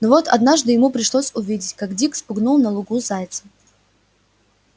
но вот однажды ему пришлось увидеть как дик спугнул на лугу зайца